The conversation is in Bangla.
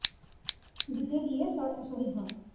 দিতে গিয়ে স শহীদ হন।